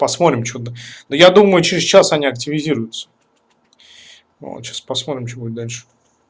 посмотрим что но я думаю через час они активизируются вот сейчас посмотрим что будет дальше